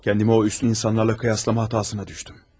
Kendimi o üstün insanlarla kıyaslama hatasına düştüm.